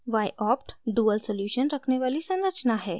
yopt : dual solution रखने वाली संरचना है